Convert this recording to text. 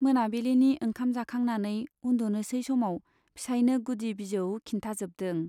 मोनाबिलिनि ओंखाम जाखांनानै उन्दुनोसै समाव फिसाइनो गुदि बिजौ खिन्थाजोबदों।